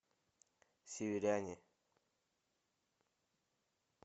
северяне